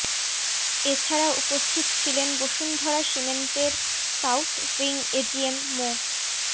এ ছাড়া উপস্থিত ছিলেন বসুন্ধরা সিমেন্টের সাউথ উইং এজিএম মো